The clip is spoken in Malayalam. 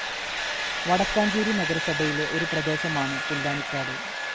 വടക്കാഞ്ചേരി നഗരസഭയിലെ ഒരു പ്രദേശമാണ് പുല്ലാനിക്കാട്.